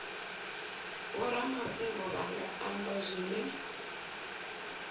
vhoramafhungo vha nga amba zwine